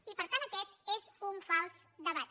i per tant aquest és un fals debat